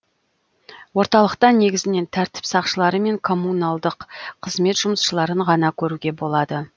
орталықта негізінен тәртіп сақшылары мен коммуналдық қызмет жұмысшыларын ғана көруге болады